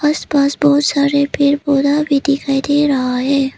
इसके पास बहुत सारे पेड़ पौधे भी दिखाई दे रहे हैं।